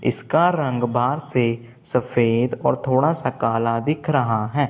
इसका रंग बाहर से सफेद और थोड़ा सा काला दिख रहा है।